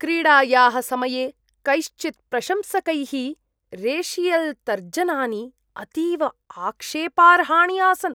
क्रीडायाः समये कैश्चित् प्रशंसकैः रेशियल्तर्जनानि अतीव आक्षेपार्हाणि आसन्।